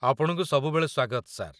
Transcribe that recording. ଆପଣଙ୍କୁ ସବୁବେଳେ ସ୍ୱାଗତ, ସାର୍।